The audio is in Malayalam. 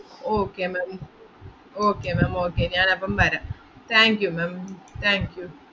okay ma'am, okay ma'am okay ഞാനപ്പം വരാം thank you ma'am, thank you